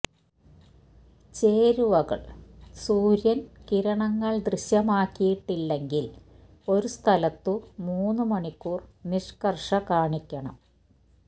ചേരുവകൾ സൂര്യൻ കിരണങ്ങൾ ദൃശ്യമാക്കിയിട്ടില്ലെങ്കിൽ ഒരു സ്ഥലത്തു മൂന്നു മണിക്കൂർ നിഷ്കർഷ കാണിക്കണം